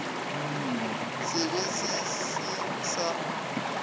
se be se se sa